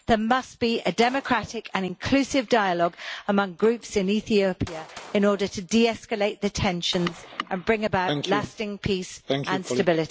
There must be a democratic and inclusive dialogue among groups in Ethiopia in order to de escalate the tensions and bring about lasting peace and stability.